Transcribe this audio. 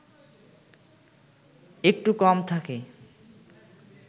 একটু কম থাকে